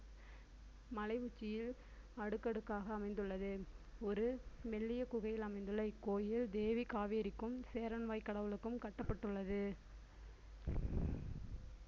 மலை உச்சியில் அடுக்கடுக்காக அமைந்துள்ளது ஒரு மெல்லிய குகையில் அமைந்துள்ள இக்கோயில் தேவி காவேரிக்கும் சேரன்வாய் கடவுளுக்கும் கட்டப்பட்டுள்ளது.